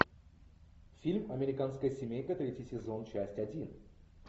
фильм американская семейка третий сезон часть один